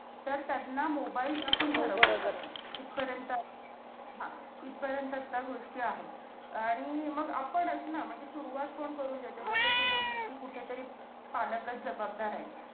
तर त्यांना mobile ठरवलं जातं. इथपर्यंत आहे. हा आपण इथपर्यंत ह्या गोष्टी आहेत. आणि मग आपणचं ना! म्हणजे सुरुवात कोण करून देतं? जसं तू बोलली, कि कुठेतरी पालकचं जबाबदार आहेत.